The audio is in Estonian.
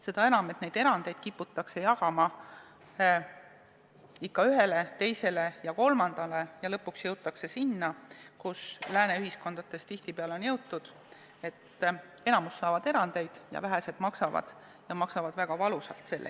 Seda enam, et erandeid kiputakse jagama ikka ühele, teisele ja kolmandale ja lõpuks jõutakse selleni, kuhu lääne ühiskondades tihtipeale on jõutud: enamik naudib erandeid ja vähesed maksavad, ja maksavad väga valusalt.